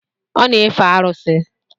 Ọ na-efe arụsị.